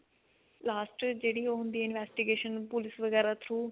last ਜਿਹੜੀ ਉਹ ਹੁੰਦੀ investigation police ਵਗੇਰਾ through